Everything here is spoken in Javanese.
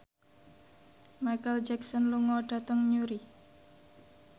Micheal Jackson lunga dhateng Newry